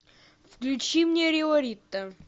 включи мне риорита